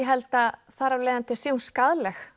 held að þar af leiðandi sé hún skaðleg